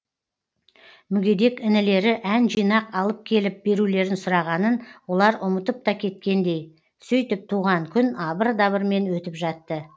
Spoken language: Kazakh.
мүгедек інілері ән жинақ алып келіп берулерін сұрағанын олар ұмытып та кеткендей сөйтіп туған күн абыр дабырмен өтіп жатты